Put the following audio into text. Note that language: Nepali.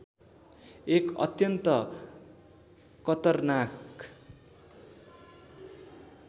एक अत्यन्त कतरनाक